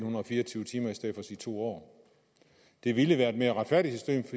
fire og tyve timer i stedet for at sige to år det ville være et mere retfærdigt